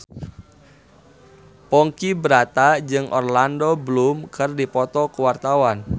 Ponky Brata jeung Orlando Bloom keur dipoto ku wartawan